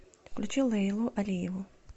включи лейлу алиеву